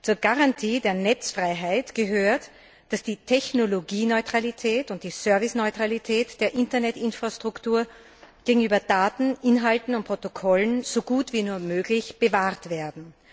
Zur Garantie der Netzfreiheit gehört, dass die Technologieneutralität und die Serviceneutralität der Internetinfrastruktur gegenüber Daten, Inhalten und Protokollen so gut wie nur möglich bewahrt werden.